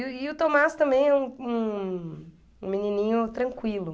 E o Tomás também é um um um menininho tranquilo.